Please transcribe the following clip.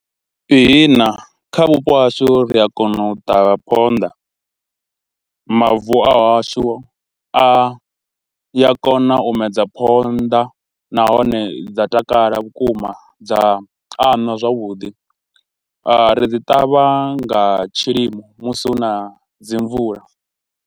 Ihina kha vhupo hashu ri a kona u ṱavha phonḓa, mavu a wa hashu a ya kona u medza phonḓa nahone dza takala vhukuma dza anwa zwavhuḓi, ri dzi ṱavha nga tshilimo musi hu na dzi mvula.